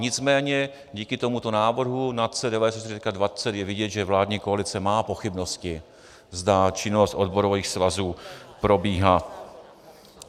Nicméně díky tomuto návrhu NACE 94.20 je vidět, že vládní koalice má pochybnosti, zda činnost odborových svazů probíhá.